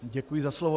Děkuji za slovo.